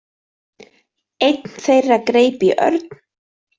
Einn þeirra greip í Örn.